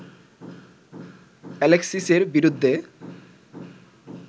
অ্যালেক্সিসের বিরুদ্ধে